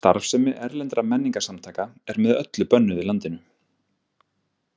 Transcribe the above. Starfsemi erlendra menningarsamtaka er með öllu bönnuð í landinu.